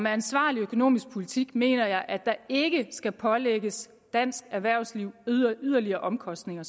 ansvarlig økonomisk politik mener jeg at der ikke skal pålægges dansk erhvervsliv yderligere omkostninger